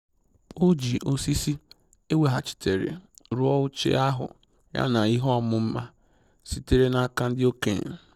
O ji osisi eweghachitere rụọ oche ahụ ya na ihe ọmụma sitere n'aka ndị okenye